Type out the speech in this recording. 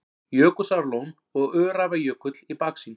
Jökulsárlón og Öræfajökull í baksýn.